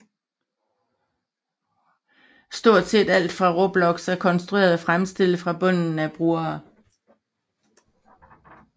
Stort set alt på Roblox er konstrueret og fremstillet fra bunden af brugere